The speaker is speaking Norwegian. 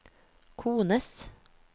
kones